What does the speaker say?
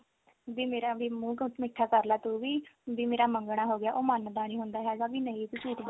ਵੀ ਮੇਰਾ ਵੀ ਮੂੰਹ ਮਿੱਠਾ ਕਰਲਾ ਤੂੰ ਵੀ ਮੇਰਾ ਮੰਗਣਾ ਹੋ ਗਿਆ ਉਹ ਮੰਨਦਾ ਨੀ ਹੁੰਦਾ ਹੈਗਾ ਵੀ ਨਹੀਂ ਵੀ ਤੂੰ ਝੂਠ ਬੋਲ